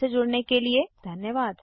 हमसे जुड़ने के लिए धन्यवाद